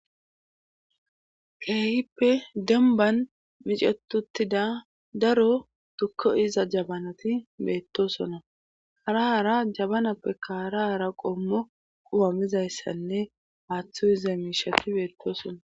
kehippe demban micetuttida daro tukko iza jabanati beettosona harahara jabanappe kaarahara qommo qumamizayssanne haaththo iza miishati beettosona